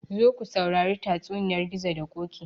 Zo ku sauri tatsuniyar gizo da ƙoƙi